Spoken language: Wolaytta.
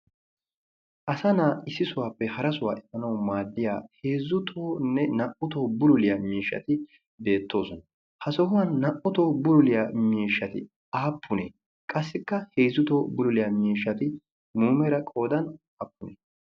Asa na'aa issisuwaappe harasuwaa efanawu maaddiya heezzu tohoynne naa'u tohuwan bululiyaa miishshati beettoosona. Ha sohuwan naa'u tohuwan bululiyaa miishshati aappunee? Qassikka heezzu tohuwan bululiyaa miishshati muumera qoodan aappunee?